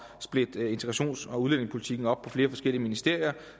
splitte integrations og udlændingepolitikken op på flere forskellige ministerier